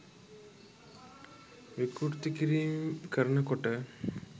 විකෘති කිරීම් කරනකොට